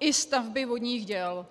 i stavby vodních děl.